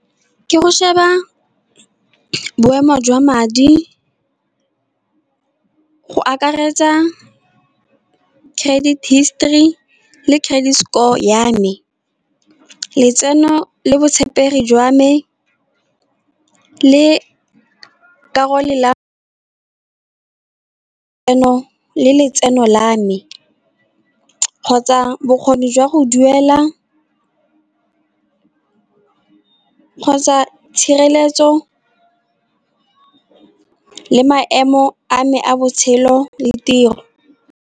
Ke go sheba boemo jwa madi go akaretsa credit history, le credit score ya me. Letseno le botshepegi jwa me le le tseno le letseno la me, kgotsa bokgoni jwa go duela, kgotsa tshireletso le maemo a me a botshelo le tiro.